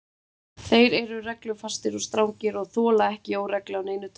Þeir eru reglufastir og strangir og þola ekki óreglu af neinu tagi.